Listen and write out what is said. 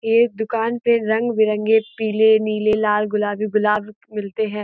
ये दुकान पे रंग - बिरंगे पीले नीले लाल और गुलाबी गुलाब मिलते हैं।